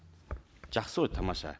жақсы ғой тамаша